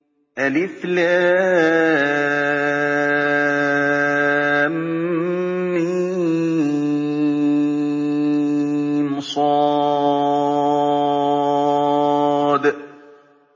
المص